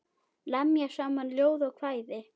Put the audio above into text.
Lemja saman ljóð og kvæði.